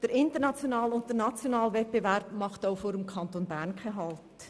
Der internationale und der nationale Wettbewerb machen auch vor dem Kanton Bern nicht halt.